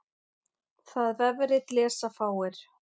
Það vefrit lesa fáir.